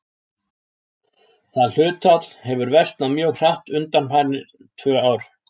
Það hlutfall hefur versnað mjög hratt undanfarin tvö ár.